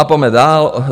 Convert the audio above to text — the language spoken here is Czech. A pojďme dál.